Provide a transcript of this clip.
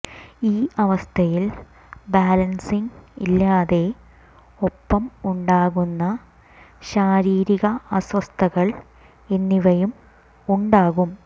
ഈ അവസ്ഥയിൽ ബാലൻസിങ് ഇല്ലാതെ ഒപ്പം ഉണ്ടാകുന്ന ശരീരിരിക അസ്വസ്ഥതകൾ എന്നിവയും ഉണ്ടാകും